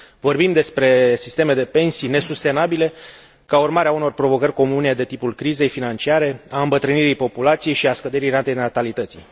Vorbim despre sisteme de pensii nesustenabile ca urmare a unor provocări comune de tipul crizei financiare, a îmbătrânirii populației și a scăderii ratei natalității.